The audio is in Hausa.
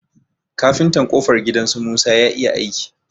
Kafintan ƙofar gidan su musa ya iya aiki.